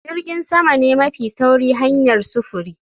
Jirgin sama ne mafi sauri hanyar sufuri